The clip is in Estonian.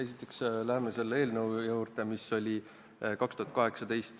Esiteks läheme selle eelnõu juurde, mis oli menetluses 2018.